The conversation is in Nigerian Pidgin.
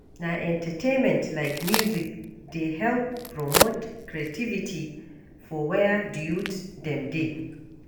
Na entertainment like music dey help promote creativity for where di youth dem dey.